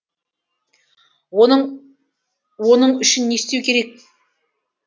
оның үшін не істеу керек